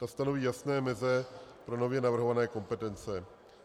Ta stanoví jasné meze pro nově navrhované kompetence.